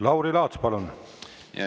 Lauri Laats, palun!